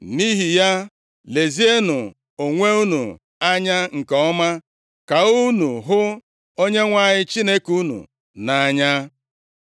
Nʼihi ya, lezienụ onwe unu anya nke ọma ka unu hụ Onyenwe anyị Chineke unu nʼanya.